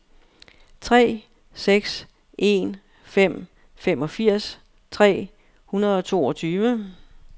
tre seks en fem femogfirs tre hundrede og toogtyve